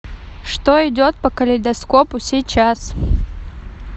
что идет по калейдоскопу сейчас